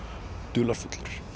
dularfullur